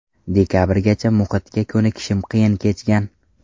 Dekabrgacha muhitga ko‘nikishim qiyin kechgan.